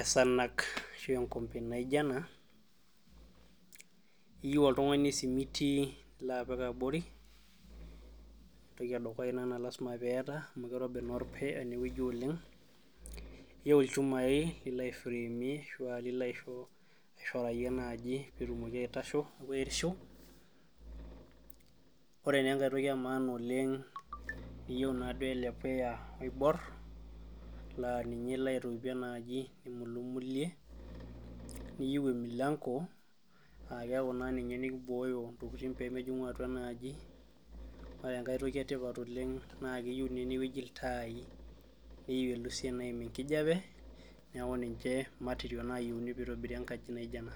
esanag ashua enkombe naijio ena iyieu oltung'ani esimiti nipik abori entoki edukuya ina naa lazima peetii amu keirobi enewueji oleng iyieu ilchumai lilo airamie ashua lino aishorayie naaji peetumoki aitasho ashua airishu ore naa enkaetoki emaana oleng peeyieu naaduo. ele puya oibor naa ninye ilo aitoipie enaaji aimulumulie niyieu emilanko aakeeku naa ninye naibooyo intokitin peemejing'u atua enaaji ore enkae toki etipat oleng naa keyieu naa enatoki iltai neyiu elusie naaim enkijiape neeku matirio naayieuni peitabiri enkaji naijio ena.